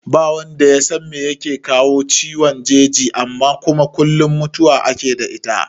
Ba wanda yasan me yake kawo ciwon jeji amma kuma kullum mutuwa ake yi da ita